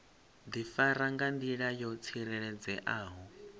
difara nga ndila yo tsireledzeaho